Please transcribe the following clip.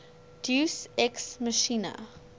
deus ex machina